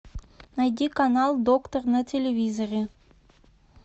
найди канал доктор на телевизоре